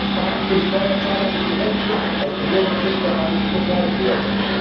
Staat und Steuerzahler müssen endlich aus dem Würgegriff der Banken befreit werden.